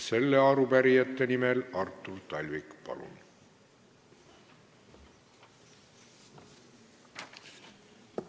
Arupärijate nimel Artur Talvik, palun!